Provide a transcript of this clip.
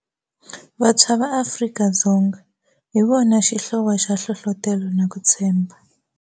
Vantshwa va Afrika-Dzonga hi vona xihlovo xa nhlohlotelo na ku tshembha